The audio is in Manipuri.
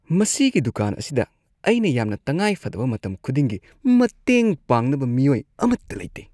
ꯃꯁꯤꯒꯤ ꯗꯨꯀꯥꯟ ꯑꯁꯤꯗ ꯑꯩꯅ ꯌꯥꯝꯅ ꯇꯉꯥꯏꯐꯗꯕ ꯃꯇꯝ ꯈꯨꯗꯤꯡꯒꯤ ꯃꯇꯦꯡ ꯄꯥꯡꯅꯕ ꯃꯤꯑꯣꯏ ꯑꯃꯠꯇ ꯂꯩꯇꯦ꯫